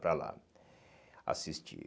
Para lá assistir.